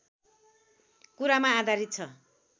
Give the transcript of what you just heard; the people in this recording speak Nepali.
कुरामा आधारित छ